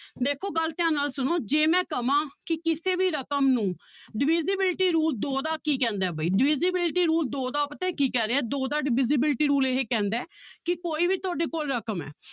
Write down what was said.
ਦੇਖੋ ਗੱਲ ਧਿਆਨ ਨਾਲ ਸੁਣੋ ਜੇ ਮੈਂ ਕਵਾਂ ਕਿ ਕਿਸੇ ਵੀ ਰਕਮ ਨੂੰ divisibility rule ਦੋ ਦਾ ਕੀ ਕਹਿੰਦਾ ਹੈ ਬਾਈ divisibility rule ਦੋ ਦਾ ਪਤਾ ਕੀ ਕਹਿ ਰਿਹਾ ਦੋ ਦਾ divisibility rule ਇਹ ਕਹਿੰਦਾ ਹੈ ਕਿ ਕੋਈ ਵੀ ਤੁਹਾਡੇ ਕੋਲ ਰਕਮ ਹੈ